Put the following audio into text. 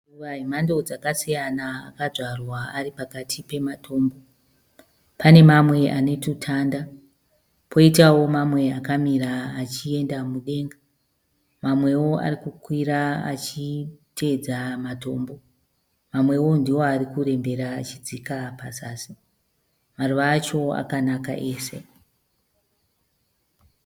Maruva anemhando dzakasiyana akadzvarwa ari pakati pematombo. Pane mamwe ane tutanda, poitawo mamwe akamira achienda mudenga . Mamwewo arikuikwira achiteedza matombo. Mamwewo ndiwo arikurembera achidzika pazasi. Maruva acho akanaka ese.